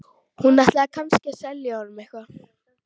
Hún ætlaði kannski að selja honum eitthvað.